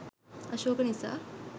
අශෝක නිසා